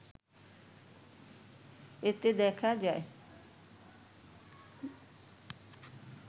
এতে দেখা যায়